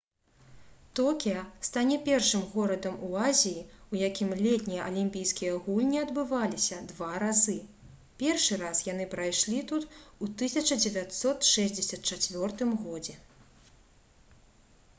токіа стане першым горадам у азіі у якім летнія алімпійскія гульні адбываліся два разы першы раз яны прайшлі тут у 1964 г